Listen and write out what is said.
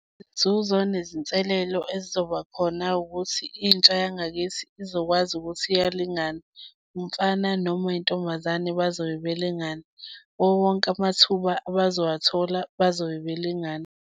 Izinzuzo nezinselelo ezizoba khona ukuthi intsha yangakithi izokwazi ukuthi iyalingana. Umfana noma uyintombazane bazobe belingana, kuwo wonke amathuba abazowathola bazobe belingana.